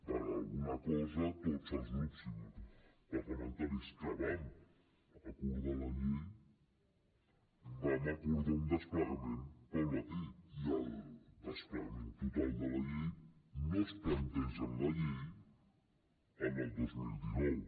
per alguna cosa tots els grups parlamentaris que vam acordar la llei vam acordar un desplegament gradual i el desplegament total de la llei no es planteja en la llei en el dos mil dinou